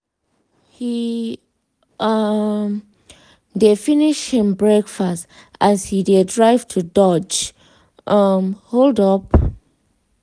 he um dey finish him breakfast as he dey drive to dodge um hold-up.